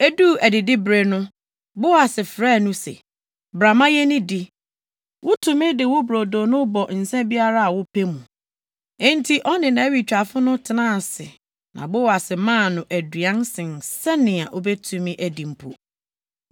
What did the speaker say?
Eduu adidibere no, Boas frɛɛ no se, “Bra ma yennidi. Wutumi de wo brodo no bɔ nsa biara a wopɛ mu.” Enti ɔne nʼawitwafo no tenaa ase na Boas maa no aduan sen sɛnea obetumi adi mpo.